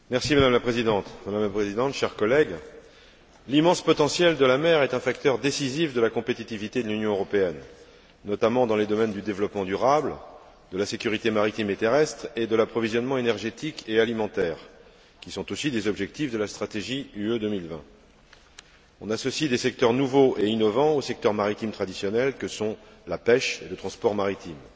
Madame la Présidente, chers collègues, l'immense potentiel de la mer est un facteur décisif de la compétitivité de l'Union européenne, notamment dans les domaines du développement durable, de la sécurité maritime et terrestre et de l'approvisionnement énergétique et alimentaire, qui sont aussi des objectifs de la stratégie Europe 2020. On associe des secteurs nouveaux et innovants aux secteurs maritimes traditionnels que sont la pêche et le transport maritime.